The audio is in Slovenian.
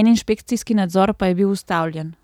en inšpekcijski nadzor pa je bil ustavljen.